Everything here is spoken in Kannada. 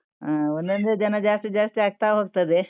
ಹಾ, ಒಂದೊಂದೇ ಜನ ಜಾಸ್ತಿ ಜಾಸ್ತಿ ಆಗ್ತಾ ಹೋಗ್ತದೆ.